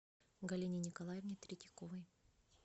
галине николаевне третьяковой